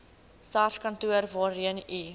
sarskantoor waarheen u